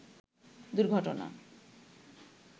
দুর্ঘটনা